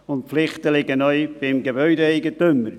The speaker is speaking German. Die Pflichten liegen neu beim Gebäudeeigentümer.